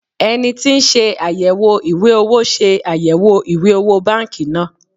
eniti ti nse ayewo iwe owo se ayewo iwe owo banki naa